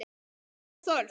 Björn Thors.